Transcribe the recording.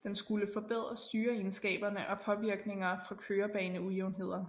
Den skulle forbedre styreegenskaberne og påvirkninger fra kørebaneujævnheder